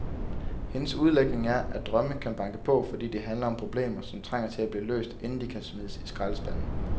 Hendes udlægning er, at drømme kan banke på, fordi de handler om problemer, som trænger til at blive løst, inden de kan smides i skraldespanden.